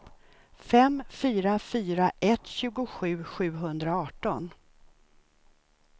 fem fyra fyra ett tjugosju sjuhundraarton